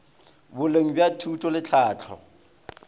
boleng bja thuto le tlhahlo